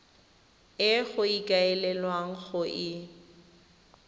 e go ikaelelwang go e